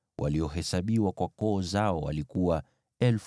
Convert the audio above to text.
waliohesabiwa kwa koo zao, walikuwa 3,200.